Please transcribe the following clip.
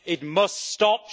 It must stop.